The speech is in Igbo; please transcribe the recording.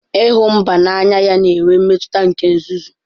ịhụ mba n'anya ya na-enwe mmetụta nke nzuzu.